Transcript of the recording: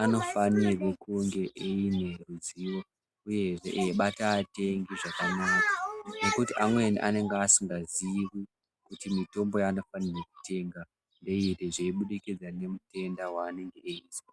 ano fanirwe kunge eine ruzivo uyehe eibata atengi zvakanaka nekuti amweni anenge asinga zivi kuti mutombo yaano fanirwe kutenga ngeiri zvei budikidza nge mutenda wanenge eyizwa.